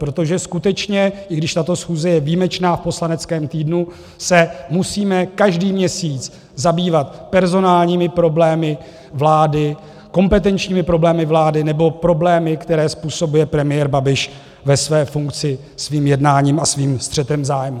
Protože skutečně, i když tato schůze je výjimečná v poslaneckém týdnu, se musíme každý měsíc zabývat personálními problémy vlády, kompetenčními problémy vlády nebo problémy, které způsobuje premiér Babiš ve své funkci svým jednáním a svým střetem zájmů.